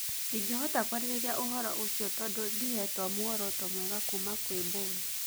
Ndingĩhota kwarĩrĩria ũhoro ũcio tondũ ndihetuo muoroto mwega kuuma kwĩ mbodi